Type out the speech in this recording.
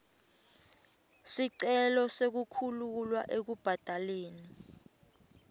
sicelo sekukhululwa ekubhadaleni